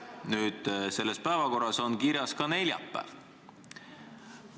Nüüd, selles päevakorras on kirjas ka neljapäev.